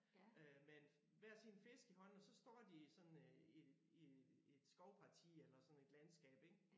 Øh med en hver sin fisk i hånden og så står de sådan øh i i i et skovparti eller sådan et landskab ik